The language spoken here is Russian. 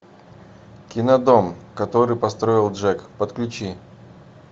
кино дом который построил джек подключи